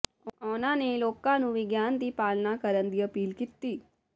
ਉਨ੍ਹਾਂ ਨੇ ਲੋਕਾਂ ਨੂੰ ਵਿਗਿਆਨ ਦੀ ਪਾਲਣਾ ਕਰਨ ਦੀ ਅਪੀਲ ਕੀਤੀ